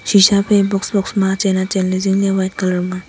pisha fai box box ma achen achenley zingley white colour ma a.